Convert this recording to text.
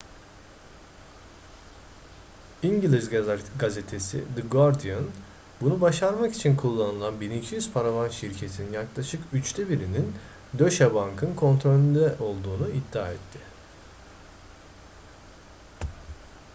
i̇ngiliz gazetesi the guardian bunu başarmak için kullanılan 1200 paravan şirketin yaklaşık üçte birinin deutsche bank'ın kontrolünde olduğunu iddia etti